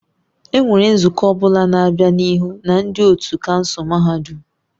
Enwere nzukọ ọ bụla na-abịa n'ihu na ndị otu kansụl mahadum?